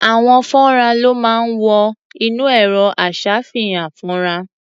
Àwo-fọ́nrán ló máa ń wọ inú ẹ̀rọ-aṣàfihàn-fọ́nrán.